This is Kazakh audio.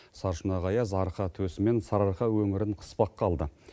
сарышұнақ аяз арқа төсі мен сарыарқа өңірін қыспаққа алды